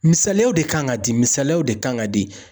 Misaliyaw de kan ka di ,misaliyaw de kan ka di.